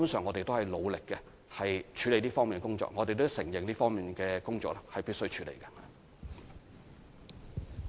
我們會努力處理這方面的工作，而我們亦承認這方面的工作是必須處理的。